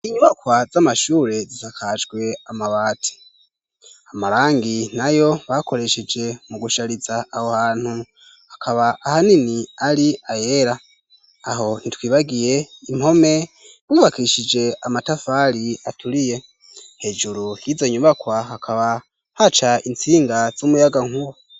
Inyubakwa z'amashure zisakajwe amabati amarangi nayo bakoresheje mu gushariza aho hantu hakaba ahanini ari ayera aho ntitwibagiye impome zubakishije amatafari aturiye hejuru yizo nyubakwa hakaba haca intsinga z'umuyaga nkuba.